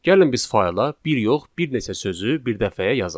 Gəlin biz fayla bir yox, bir neçə sözü bir dəfəyə yazaq.